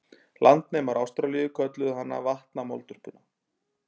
Landnemar Ástralíu kölluðu hana vatnamoldvörpuna.